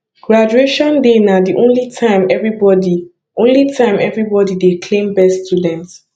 graduation day na the only time everybody only time everybody dey claim best student